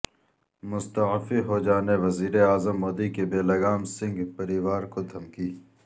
مستعفی ہو جانے وزیراعظم مودی کی بےلگام سنگھ پریوار کو دھمکی